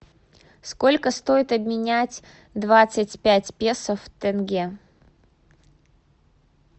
сколько стоит обменять двадцать пять песо в тенге